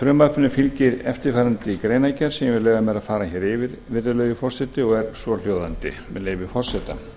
frumvarpinu fylgir eftirfarandi greinargerð sem ég vil leyfa mér að fara yfir virðulegi forseti og er svohljóðandi með leyfi forseta